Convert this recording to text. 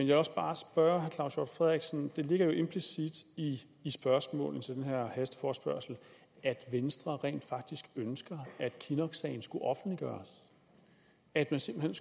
vil også bare spørge herre claus hjort frederiksen for det ligger jo implicit i spørgsmålene til den her hasteforespørgsel at venstre rent faktisk ønsker at kinnocksagen skulle offentliggøres at man simpelt